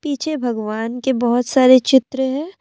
पीछे भगवान के बहुत सारे चित्र है।